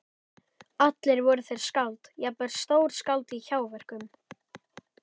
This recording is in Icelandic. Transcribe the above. Allir voru þeir skáld, jafnvel stórskáld- í hjáverkum.